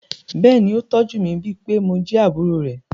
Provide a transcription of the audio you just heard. Bẹ́ẹ̀ ni, ó tọ́jú mi, bíi pé mo jẹ́ àbúrò rẹ̀.